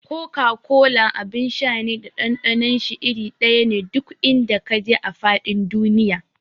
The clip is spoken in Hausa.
Koka-kola abin sha ne da ɗanɗanon shi iri ɗaya ne duk in da ka je a faɗin duniya.